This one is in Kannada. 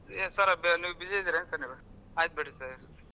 ಎನ್ sir ನೀವ್ busy ಅದಿರೇನ sir ನೀವ್ ಆಯ್ತ ಬಿಡ್ರಿ sir .